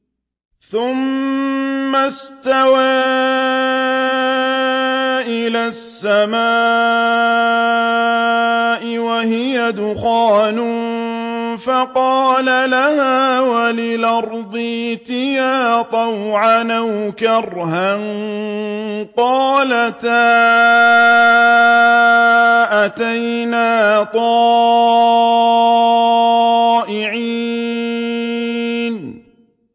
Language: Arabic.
ثُمَّ اسْتَوَىٰ إِلَى السَّمَاءِ وَهِيَ دُخَانٌ فَقَالَ لَهَا وَلِلْأَرْضِ ائْتِيَا طَوْعًا أَوْ كَرْهًا قَالَتَا أَتَيْنَا طَائِعِينَ